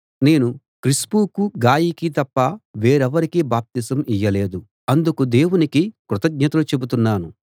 నేను క్రిస్పుకు గాయికి తప్ప వేరెవరికీ బాప్తిసం ఇయ్యలేదు అందుకు దేవునికి కృతజ్ఞతలు చెబుతున్నాను